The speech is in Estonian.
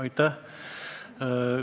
Aitäh!